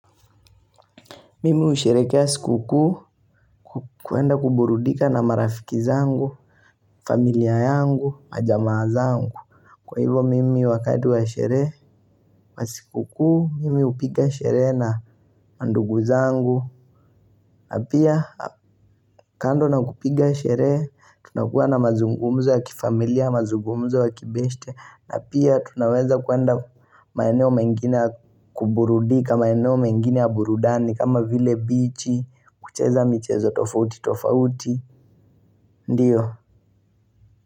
Mimi husherekea sikukuu kuenda kuburudika na marafiki zangu, familia yangu, majamaa zangu. Kwa hivyo, mimi wakati wa sherehe na sikukuu mimi hupiga sherehe na mandugu zangu. Na pia, kando na kupiga sherehe, tunakuwa na mazungumzo ya kifamilia, mazungumzo ya kibeshte. Na pia, tunaweza kuenda. Maeneo mengine ya kuburudika, maeneo mengine ya burudani kama vile bichi, kucheza michezo tofauti tofauti. Ndiyo.